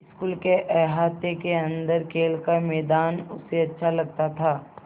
school के अहाते के अन्दर खेल का मैदान उसे अच्छा लगता था